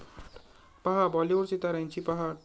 पाहा बाॅलिवूड सिताऱ्यांची पहाट